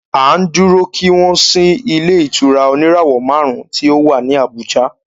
À ń dúró kí wọ́n ṣí ilé ìtura oníràwọ̀ márùn ùn tí o wá ní Abùjá.